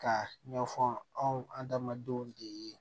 Ka ɲɛfɔ anw andamadenw de ye